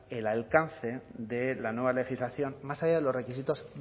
el alcance de la nueva legislación más allá de los requisitos